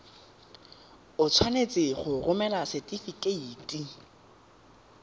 o tshwanetse go romela setefikeiti